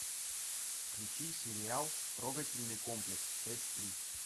включи сериал трогательный комплекс часть три